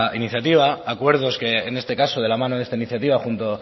iniciativa acuerdos que en este caso de la mano de esta iniciativa junto